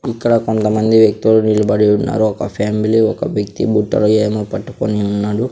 ఇక్కడ కొంతమంది వ్యక్తులు నిలబడి ఉన్నారు ఒక ఫ్యామిలీ ఒక వ్యక్తి బుట్టలో ఏమో పట్టుకొని ఉన్నాడు.